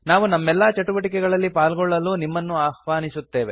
ನಾವು ನಮ್ಮೆಲ್ಲಾ ಚಟುವಟಿಕೆಗಳಲ್ಲಿ ಪಾಲ್ಗೊಳ್ಳಲು ನಿಮ್ಮನ್ನು ಆಹ್ವಾನಿಸುತ್ತೇವೆ